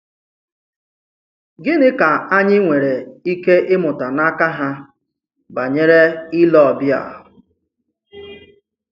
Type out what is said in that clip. Gịnị ka anyị nwere ike ị̀mụ̀tà n’aka ha banyere ìlè ọbìà?